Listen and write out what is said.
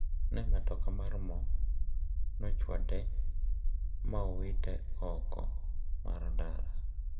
Ne matoka mar mo no ochwade ma owite oko mar ndara.